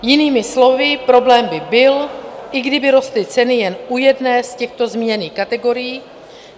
Jinými slovy, problém by byl, i kdyby rostly ceny jen u jedné z těchto zmíněných kategorií.